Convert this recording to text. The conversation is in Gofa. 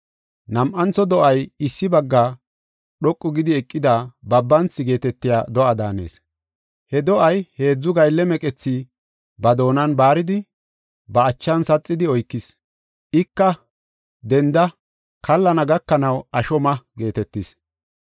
“Nam7antho do7ay issi bagga dhoqu gidi eqida Babanthi geetetiya do7a daanees. He do7ay heedzu gaylle meqethi ba doonan baaridi, ba achan saxidi oykis. Ika, ‘Denda; kallana gakanaw asho ma’ geetetis.